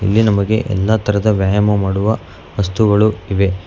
ಇಲ್ಲಿ ನಮಗೆ ಎಲ್ಲಾ ತರದ ವ್ಯಾಯಾಮ ಮಾಡುವ ವಸ್ತುಗಳು ಇವೆ.